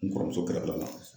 N kɔrɔmuso kɛrɛfɛla la